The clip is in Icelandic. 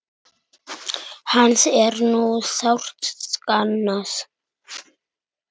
Hans er nú sárt saknað.